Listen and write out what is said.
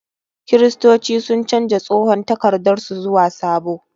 Kiristoci sun canja tsohon takardar su zuwa sabo.